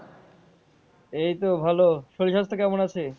এইতো ভালো শরীর স্বাস্থ্য কেমন আছে?